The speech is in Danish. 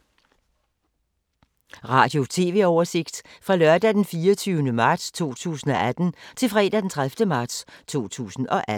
Radio/TV oversigt fra lørdag d. 24. marts 2018 til fredag d. 30. marts 2018